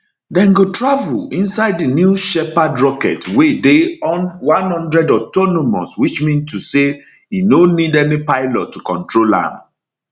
dem go travel inside di new shepherd rocket wey dey one hundred autonomous which mean to say e no need any pilot to control am